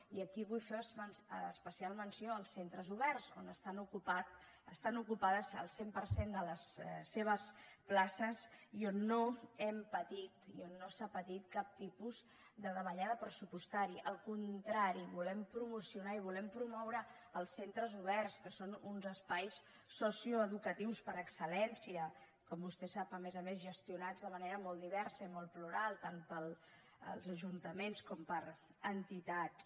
i aquí vull fer especial menció als centres oberts on estan ocupades el cent per cent de les seves places i on no s’ha patit cap tipus de davallada pressupostària al contrari volem promocionar i volem promoure els centres oberts que són uns espais socioeducatius per excel·lència com vostè sap a més a més gestionats de manera molt diversa i molt plural tant pels ajuntaments com per entitats